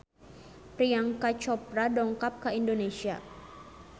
Priyanka Chopra dongkap ka Indonesia